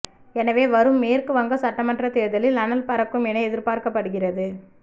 எனவே வரும் மேற்குவங்க சட்டமன்ற தேர்தலில் அனல் பறக்கும் என எதிர்பார்க்கப்படுகிறது